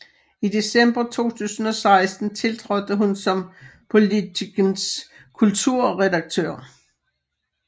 I december 2016 tiltrådte hun som Politikens kulturredaktør